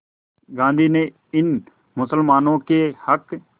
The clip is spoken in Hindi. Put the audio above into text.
गांधी ने इन मुसलमानों के हक़